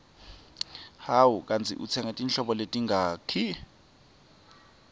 hawu kandzi utsenge titoko letingaki